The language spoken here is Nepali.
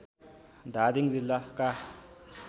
धादिङ जिल्लाका